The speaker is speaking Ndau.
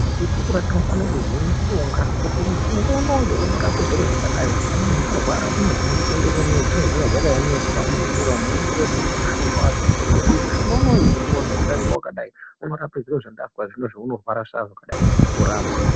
Tichikura tinofane kuziye mushonga kuti mushonga unowu unorape zviro zvakadai. Kana muntu warwara unomhanye kuende kune zvinee zvakaemeswa munzira umo oende kootenge mushonga wake oziye kuti mushonga unowu wandoowanze kuda ngewakadai unorape zviro zvakazodai, orapwa.